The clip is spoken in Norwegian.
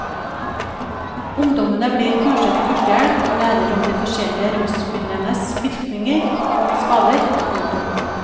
Ungdommene blir kurset i førstehjelp og lærer om de forskjellige rusmidlenes virkning og skader. punktum